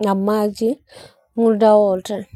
na maji, muda wote.